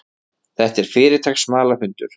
Þetta er fyrirtaks smalahundur.